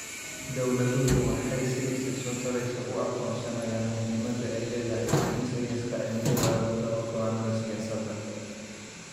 Dawladuhu waxay si isa soo taraysa u aqoonsanayaan muhiimada ay leedahay in sayniska cimilada lagu daro go'aannada siyaasadda.